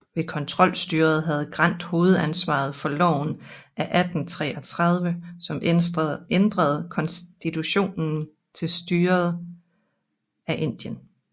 Ved kontrolstyret havde Grant hovedansvaret for loven af 1833 som ændrede konstitutionen til styret af Indien